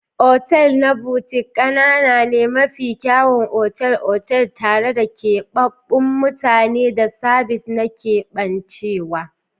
Otal na Boutique ƙanana ne, mafi kyawun otal-otal tare da keɓaɓɓun mutane da sabis na keɓancewa.